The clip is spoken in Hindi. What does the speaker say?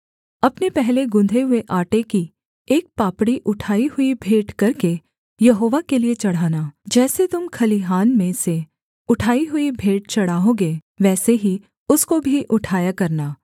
अपने पहले गुँधे हुए आटे की एक पापड़ी उठाई हुई भेंट करके यहोवा के लिये चढ़ाना जैसे तुम खलिहान में से उठाई हुई भेंट चढ़ाओगे वैसे ही उसको भी उठाया करना